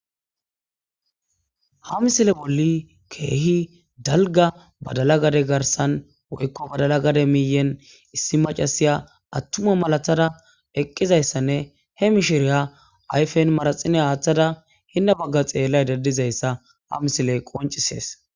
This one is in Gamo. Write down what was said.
Ha missile bolli kehi dalga badala gade garsan woyiko badala gade miyen issi macasiya atuma malatada eqidayissanne he mishiriya ayifen manaxera athada hena bagan xelayida dizayissa ha misiley qoncises